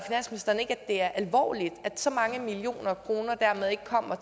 det er alvorligt at så mange millioner kroner dermed ikke kommer